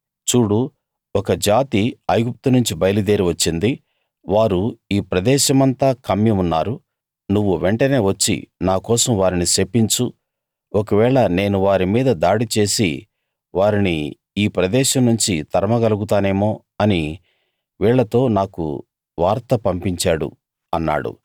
చూడు ఒక జాతి ఐగుప్తునుంచి బయలుదేరి వచ్చింది వారు ఈ ప్రదేశమంతా కమ్మి ఉన్నారు నువ్వు వెంటనే వచ్చి నా కోసం వారిని శపించు ఒకవేళ నేను వారి మీద దాడి చేసి వారిని ఈ ప్రదేశం నుంచి తరమగలుగుతానేమో అని వీళ్ళతో నాకు వార్త పంపించాడు అన్నాడు